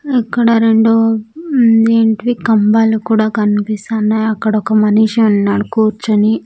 ఇక్కడ రెండు ఉమ్ ఏంటివి కంబాలు కూడా కనిపిస్తున్నాయి అక్కడ ఒక మనిషి ఉన్నాడు కూర్చొని.